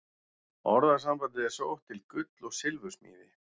Orðasambandið er sótt til gull- og silfursmíði.